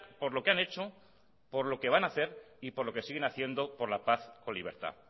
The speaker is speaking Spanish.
por lo que han hecho por lo que van a hacer y por lo que siguen haciendo por la paz o libertad